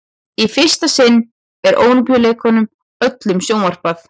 í fyrsta sinn er ólympíuleikunum öllum sjónvarpað